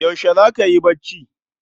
Yaushe zaka yi bacci?